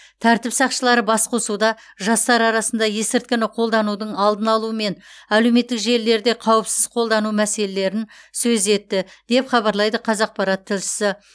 тәртіп сақшылары басқосуда жастар арасында есірткіні қолданудың алдын алу мен әлеуметтік желілерде қауіпсіз қолдану мәселелерін сөз етті деп хабарлайды қазақпарат тілшісі